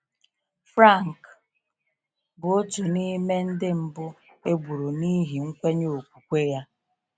Franc bụ otu n’ime ndị mbụ e gburu n’ihi nkwenye okwukwe ya.